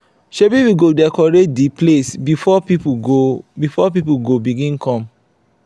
shebi we go decorate di place before pipo go before pipo go begin come.